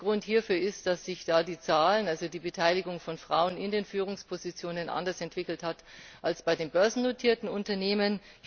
Der Grund hierfür ist, dass sich da die Zahlen, also die Beteiligung von Frauen in den Führungspositionen, anders entwickelt haben als bei den börsennotierten Unternehmen.